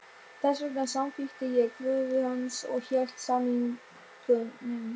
Þess vegna samþykkti ég kröfu hans og hélt samningnum.